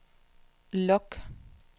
log